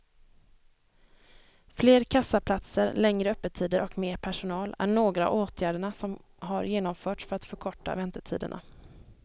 Fler kassaplatser, längre öppettider och mer personal är några av åtgärderna som har genomförts för att förkorta väntetiderna.